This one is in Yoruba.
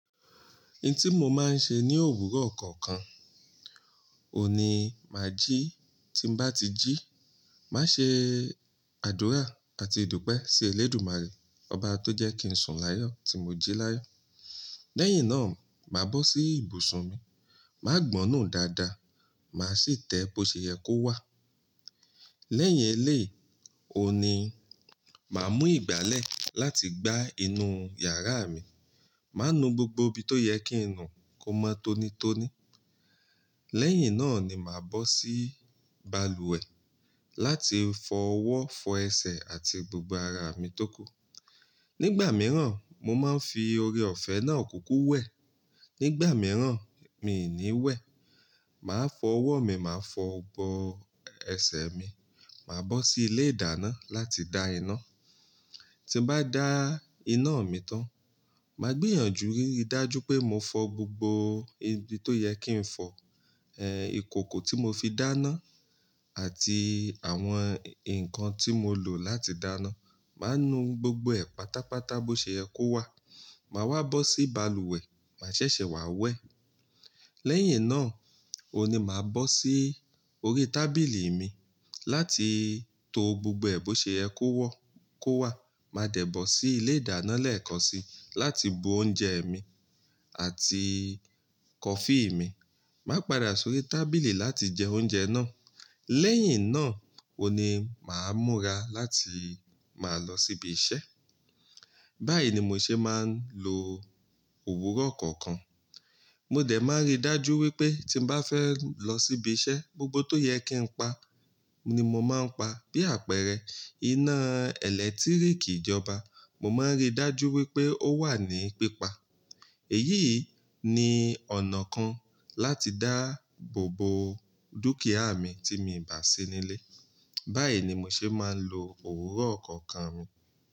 N tí mo máa ń ṣe ní òwúrọ̀ kọ̀ọ̀kan, òní má jí, tí bá ti jí, má ṣe àdúrà àti ìdúpẹ́ sí Elédùmarè, Ọba tó jẹ́ kí n sùn láyọ̀ tí mo jí láyọ̀. Lẹ́yìn náà, màá bọ́ sí ibùsùn mi, màá gbọnú dáadáa, màá sì tẹ bóò ṣè yẹ kó wà. Lẹ́yìn eléyii, ò ní, màá mú ìgbálẹ̀ láti gbá inú yàrá mi. Màá nu gbogbo ibi tó yẹ kí n nù kó mọ́ tónítóní. Lẹ́yìn náà ni màá bọ́ sí balùwẹ̀ láti fọ ọwọ́, fọ ẹsẹ̀ àti gbogbo ara mi tó kù. Nígbà mìíràn, mo máa ń fi oore-ọ̀fẹ́ náà kúkú wẹ̀. Nígbà mìíràn, mi ò ní wẹ̀. Màá fọ ọwọ́ mi, màá fọ ọ̀bọ ẹsẹ̀ mi, màá bọ́ sí ilé ìdáná láti dá iná. Tí n bá dá iná mi tán, màá gbìyànjú ríi dájú pé mo fọ gbogbo ibi tó yẹ kí n fọ, eh, ìkòkò tí mo fi dáná àti àwọn ǹkan tí mo lò láti dáná. Màá nu gbogbo ẹ̀ pátápátá bó ṣe yẹ kó wà. Màá wá bọ́ sí balùwẹ̀, màá ṣẹ̀ṣẹ̀ wà wẹ̀. Lẹ́yìn náà, òní màá bọ́ sí orí tábìlì mi láti to gbogbo ẹ̀ bó ṣe yẹ kó wọ́ kó wà. Màá dẹ̀ bọ̀ sí ilé ìdáná lẹ́ẹ̀kansi láti bu oúnjẹ mi àti kọfí mi. Màá padà sórí tábìlì láti jẹ oúnjẹ náà. Lẹ́yìn náà, ò ní màá múra láti máa lọ síbi iṣẹ́. Báyìí ni mo ṣe máa ń lo òwúrọ̀ kọ̀ọ̀kan. Mo dẹ̀ máa ń rí dájú wípé tí n bá fẹ́ lọ síbi iṣẹ́, gbogbo tó yẹ kí n pa ni mo máa ń pa bí àpẹẹrẹ, iná ẹ̀lẹ́tíríkì ìjọba, mo máa ń rí dájú wípé ó wà ní pípa. Èyí ni ọ̀nà kan láti dáàbò bo dúkìá mi tí mi ò bá sí nílé. Báyìí ni mo ṣe máa ń lo òwúrọ̀ kọ̀ọ̀kan mi.